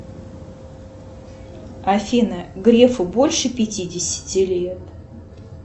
афина грефу больше пятидесяти лет